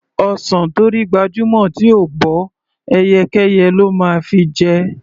Ọsàn tó rí gbajúmọ̀ tí ò bọ́, ẹyẹkẹ́yẹ ló máa fi jẹ.